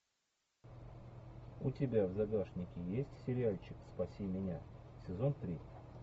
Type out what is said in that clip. у тебя в загашнике есть сериальчик спаси меня сезон три